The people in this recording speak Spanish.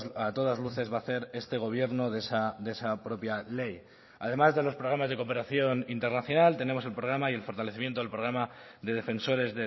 a todas luces va a hacer este gobierno de esa propia ley además de los programas de cooperación internacional tenemos el programa y el fortalecimiento del programa de defensores